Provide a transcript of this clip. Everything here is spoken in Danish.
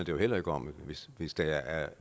jo heller ikke om hvis hvis der er